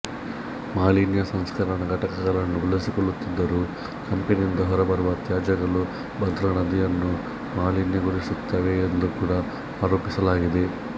ಮಾಲಿನ್ಯ ಸಂಸ್ಕರಣ ಘಟಕಗಳನ್ನು ಬಳಸಿಕೊಳ್ಳುತ್ತಿದ್ದರೂ ಕಂಪೆನಿಯಿಂದ ಹೊರಬರುವ ತ್ಯಾಜಗಳು ಭದ್ರಾ ನದಿಯನ್ನು ಮಾಲಿನ್ಯಗೊಳಿಸುತ್ತವೆ ಎಂದು ಕೂಡಾ ಆರೋಪಿಸಲಾಗಿದೆ